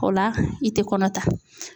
O la i tɛ kɔnɔ ta.